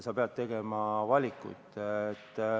Sa pead tegema valikuid.